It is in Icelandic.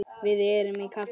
Við erum á kafi.